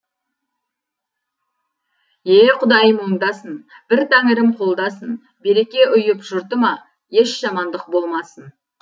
е құдайым оңдасын бір тәңірім қолдасын береке ұйып жұртыма еш жамандық болмасын